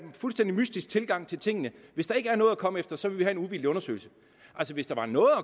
fuldstændig mystisk tilgang til tingene hvis der ikke er noget at komme efter så vil vi have en uvildig undersøgelse altså hvis der var noget at